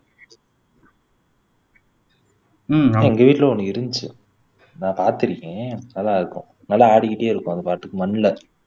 உம் எங்க வீட்ல ஒண்ணு இருந்துச்சு நான் பாத்திருக்கேன் நல்லா இருக்கும் நல்லா ஆடிக்கிட்டே இருக்கும் அது பாட்டுக்கு மண்ல